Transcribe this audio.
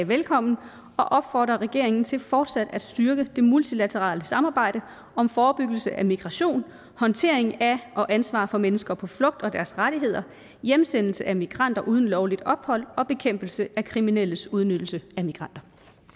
velkommen og opfordrer regeringen til fortsat at styrke det multilaterale samarbejde om forebyggelse af migration håndtering af og ansvar for mennesker på flugt og deres rettigheder hjemsendelse af migranter uden lovligt ophold og bekæmpelse af kriminelles udnyttelse af migranter